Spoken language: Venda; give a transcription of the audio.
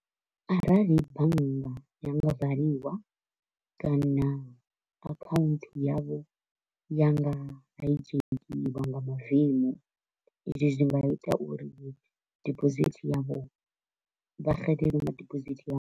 Arali bannga ya nga valiwa kana account yavho ya nga hijackiwa nga mavemu, izwi zwi nga ita uri deposit yavho vha xelelwe nga deposit yavho.